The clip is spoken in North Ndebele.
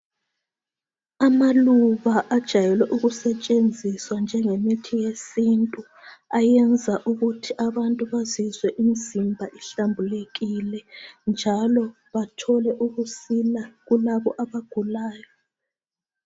Amaluba ajayelwe ukusetshenziswa njengemithi yesintu ayenza ukuthi abantu bazizwe imizimba ihlambulukile njalo bathole ukusila kulabo abagulayo.